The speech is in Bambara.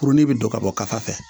Kurunin bɛ don ka bɔ ka taa fɛ